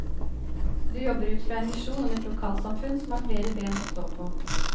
Du jobber ut fra en visjon om et lokalsamfunn som har flere ben å stå på.